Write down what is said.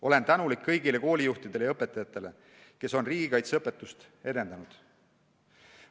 Olen tänulik kõigile koolijuhtidele ja õpetajatele, kes on riigikaitseõpetust edendanud.